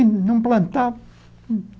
Não